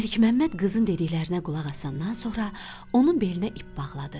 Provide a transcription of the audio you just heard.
Məlikməmməd qızın dediklərinə qulaq asandan sonra onun belinə ip bağladı.